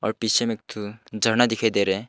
और पीछे में एक ठो झरना दिखाई दे रहा है।